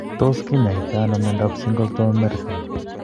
Tos kinyaatano myondap Singleton Merten?